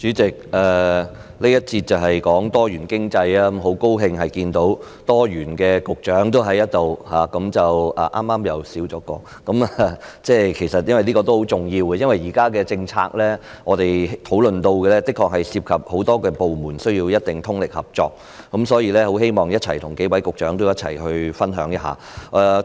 主席，這環節是討論多元經濟，很高興在這裏看到"多元"的局長——剛剛又少了一位——這也是很重要的，因為現在我們討論的政策的確涉及很多部門，需要大家通力合作。所以，我希望跟數位局長分享一下我的看法。